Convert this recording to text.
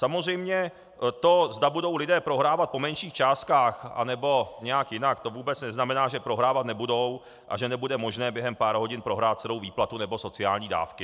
Samozřejmě to, zda budou lidé prohrávat po menších částkách nebo nějak jinak, to vůbec neznamená, že prohrávat nebudou a že nebude možné během pár hodin prohrát celou výplatu nebo sociální dávky.